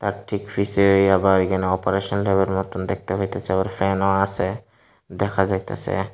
তার ঠিক পিছে আবার এখানে অপারেশন টেবিলের মতোন দেখতে পাইতেছি আবার ফ্যানও আছে দেখা যাইতাসে।